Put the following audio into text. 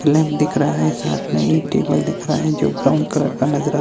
पलंग दिख रहा है साथ में एक टेबल दिख रहा है जो ब्राउन कलर का नजर आ--